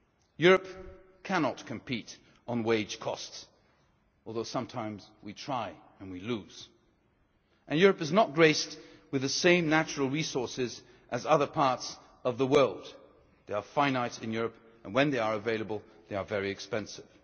Europe cannot compete on wage costs, although sometimes we try and we lose. And Europe is not graced with the same natural resources as other parts of the world they are finite in Europe, and when they are available, they are very expensive.